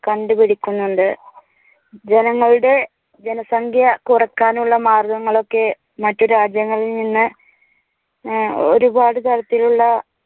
കണ്ടുപിടിക്കുന്നുണ്ട്. ജനങ്ങളുടെ ജനസംഖ്യ കുറയ്ക്കാനുള്ള മാർഗ്ഗങ്ങൾ ഒക്കെ മറ്റു രാജ്യങ്ങളിൽ നിന്ന് ഒരുപാട് തരത്തിലുള്ള